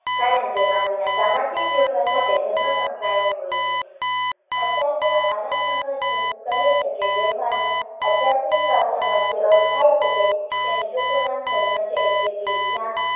કારણ કે, માનવી ના સામાજિક જીવન સાથે ધર્મ સંકળાયેલો હોય છે આચાર્ય આનંદ શંકર ધ્રુવ કહે છે કે વ્યવહારનો આધ્યાત્મિક ભાષામાં જે અર્થ થાય છે તેનું ટૂંકું નામ ધર્મ છે એટલે કે જ્યાં